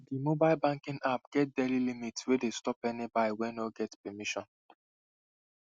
the mobile banking app get daily limit wey dey stop any buy wey no get permission